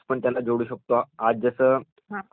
आज जस आजकाल सुपर कम्प्युटर्स निघालेले आहेत